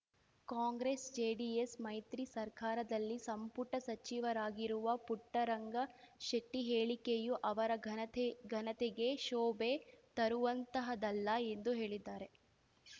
ಕಾಂಗ್ರೆಸ್‌ಜೆಡಿಎಸ್‌ ಮೈತ್ರಿ ಸರ್ಕಾರದಲ್ಲಿ ಸಂಪುಟ ಸಚಿವರಾಗಿರುವ ಪುಟ್ಟರಂಗ ಶೆಟ್ಟಿಹೇಳಿಕೆಯು ಅವರ ಘನತೆಘನತೆಗೆ ಶೋಭೆ ತರುವಂತಹದ್ದಲ್ಲ ಎಂದು ಹೇಳಿದ್ದಾರೆ